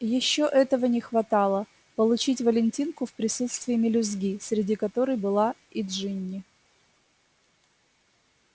ещё этого не хватало получить валентинку в присутствии мелюзги среди которой была и джинни